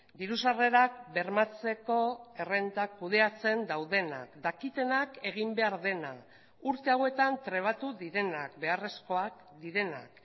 diru sarrerak bermatzeko errentak kudeatzen daudenak dakitenak egin behar dena urte hauetan trebatu direnak beharrezkoak direnak